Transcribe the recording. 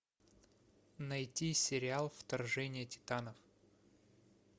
найти сериал вторжение титанов